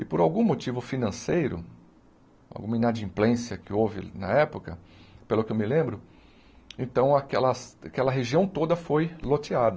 E por algum motivo financeiro, alguma inadimplência que houve na época, pelo que eu me lembro, então aquelas aquela região toda foi loteada.